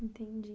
Entendi.